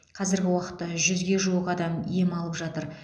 қазіргі уақытта жүзге жуық адам ем алып жатыр